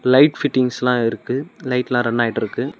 Light ஃபிட்டிங்ஸ்லா இருக்கு லைட்ல்லா ரன் ஆயிட்ருக்கு.